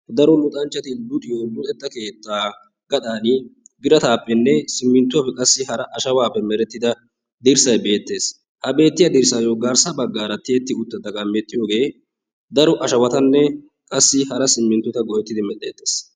Daro luxanchchati luxiyo keettaa gaxaani simintuwappe oosetida dirsay beetees.ha beettiya dirsaappe garssa baggaara tiyeti uttida daro ashawata nne simmintuwa go'etidi medheetees.